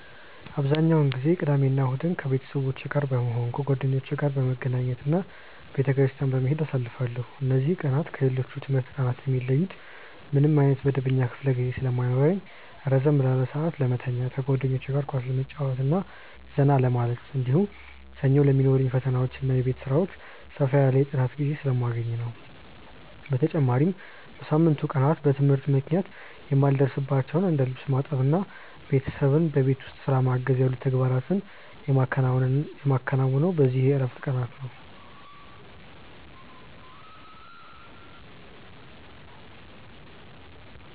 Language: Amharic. አብዛኛውን ጊዜ ቅዳሜና እሁድን ከቤተሰቦቼ ጋር በመሆን፣ ከጓደኞቼ ጋር በመገናኘት እና ቤተክርስቲያን በመሄድ አሳልፋለሁ። እነዚህ ቀናት ከሌሎች የትምህርት ቀናት የሚለዩት ምንም ዓይነት መደበኛ ክፍለ ጊዜ ስለማይኖርኝ ረዘም ላለ ሰዓት ለመተኛት፣ ከጓደኞቼ ጋር ኳስ ለመጫወትና ዘና ለማለት፣ እንዲሁም ሰኞ ለሚኖሩኝ ፈተናዎችና የቤት ሥራዎች ሰፋ ያለ የጥናት ጊዜ ስለማገኝ ነው። በተጨማሪም በሳምንቱ ቀናት በትምህርት ምክንያት የማልደርስባቸውን እንደ ልብስ ማጠብና ቤተሰብን በቤት ውስጥ ሥራ ማገዝ ያሉ ተግባራትን የማከናውነው በእነዚህ የዕረፍት ቀናት ነው።